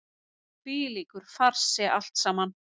Hvílíkur farsi allt saman!